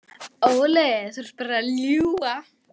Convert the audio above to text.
Óli, þú ert bara að ljúga.